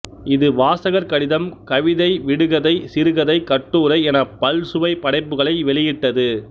இது வாசகர் கடிதம் கவிதை விடுகதை சிறுகதை கட்டுரை எனப் பல்சுவைப் படைப்புக்களை வெளியிட்டது